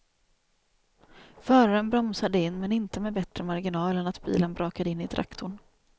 Föraren bromsade in men inte med bättre marginal än att bilen brakade in i traktorn.